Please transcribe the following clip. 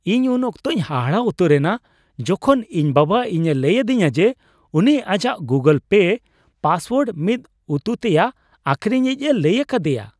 ᱤᱧ ᱩᱱ ᱚᱠᱛᱚᱧ ᱦᱟᱦᱟᱲᱟ ᱩᱛᱟᱹᱨ ᱮᱱᱟ ᱡᱚᱠᱷᱚᱱ ᱤᱧ ᱵᱟᱵᱟ ᱤᱧ ᱮ ᱞᱟᱹᱭ ᱟᱹᱫᱤᱧᱟ ᱡᱮ ᱩᱱᱤ ᱟᱡᱟᱜ ᱜᱩᱜᱩᱞ ᱯᱮ ᱯᱟᱥᱳᱣᱟᱨᱰ ᱢᱤᱫ ᱩᱛᱩᱛᱮᱭᱟᱜ ᱟᱠᱷᱨᱤᱧᱤᱡᱼᱮ ᱞᱟᱹᱭ ᱟᱠᱟᱫᱮᱭᱟ ᱾